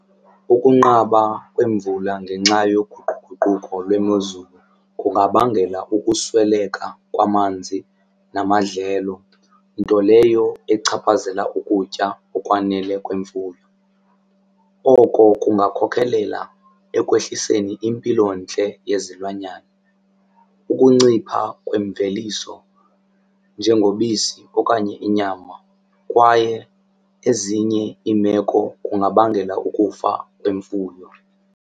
Ukunqaba kwemvula ngenxa yoguquguquko lwemozulu kungabangela ukusweleka kwamanzi namadlelo nto leyo echaphazela ukutya okwanele kwemfuyo. Oko kungakhokhelela ekwehliseni impilontle yezilwanyana, ukuncipha kwemveliso njengobisi okanye inyama kwaye ezinye iimeko kungabangela ukufa kwemfuyo.